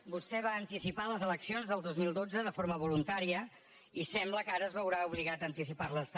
vostè va anticipar les eleccions el dos mil dotze de forma voluntària i sembla que ara es veurà obligat a anticiparles també